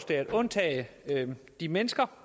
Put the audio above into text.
det at undtage de mennesker